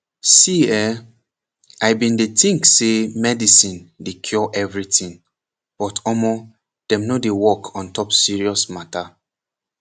see eh i bin dey think say medicine dey cure everything but omoh dem no dey work ontop serious mata